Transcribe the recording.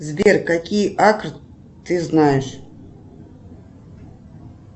сбер какие акры ты знаешь